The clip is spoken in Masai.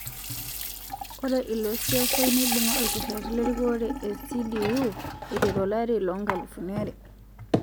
Ore ilosiasai neibunga okereti lerikore e CDU aiteru olari le 2000